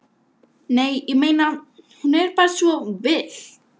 Nei, ég meina. hún er bara svo villt.